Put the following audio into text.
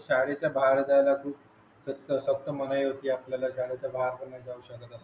शाळेच्या बाहेर जाण्याची सक्त सक्त मनाई होती आपल्याला शाळेच्या बाहेर पण होऊ शकत